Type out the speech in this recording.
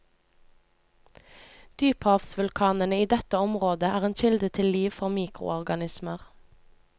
Dyphavsvulkanene i dette området er en kilde til liv for mikroorganismer.